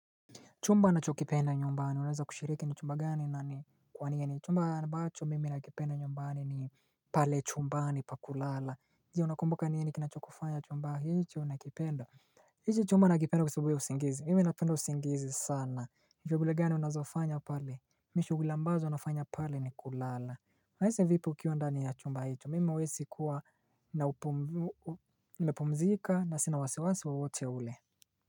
Chumba na cho kipenda nyumbani, unaweza kushiriki ni chumba gani na ni kwa nini ni chumba ambacho mimi na kipenda nyumbani ni pale chumba ni pa kulala, zi unakumbuka niye ni kinacho kufanya chumba hicho na kipenda, iki chumba na kipenda kwasabu ya usingizi, mimi iapendo usingizi sana, vyo gule gani unazofanya pale, mishugulambazo unafanya pale ni kulala Haise vipo kiuandani ya chumba hicho, mimi mwesi kuwa na upumzika na sinawasewasi waote ule.